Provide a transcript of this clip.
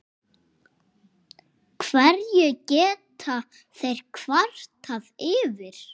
Hverju geta þeir kvartað yfir?